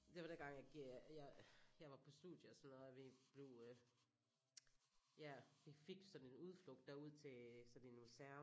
Det var dengang jeg jeg var på studie og sådan noget og vi blev øh ja vi fik sådan en udflugt derud til sådan en museum